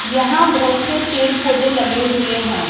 यहां बहोत से पेड़ पौधे लगे हुए हैं।